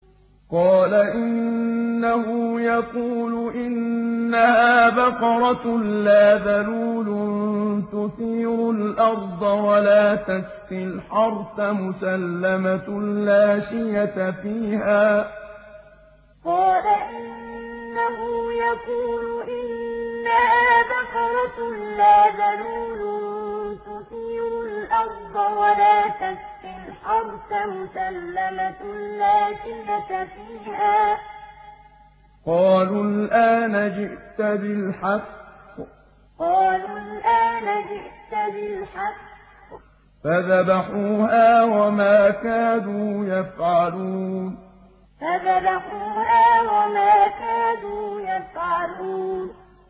قَالَ إِنَّهُ يَقُولُ إِنَّهَا بَقَرَةٌ لَّا ذَلُولٌ تُثِيرُ الْأَرْضَ وَلَا تَسْقِي الْحَرْثَ مُسَلَّمَةٌ لَّا شِيَةَ فِيهَا ۚ قَالُوا الْآنَ جِئْتَ بِالْحَقِّ ۚ فَذَبَحُوهَا وَمَا كَادُوا يَفْعَلُونَ قَالَ إِنَّهُ يَقُولُ إِنَّهَا بَقَرَةٌ لَّا ذَلُولٌ تُثِيرُ الْأَرْضَ وَلَا تَسْقِي الْحَرْثَ مُسَلَّمَةٌ لَّا شِيَةَ فِيهَا ۚ قَالُوا الْآنَ جِئْتَ بِالْحَقِّ ۚ فَذَبَحُوهَا وَمَا كَادُوا يَفْعَلُونَ